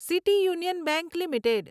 city union bank limited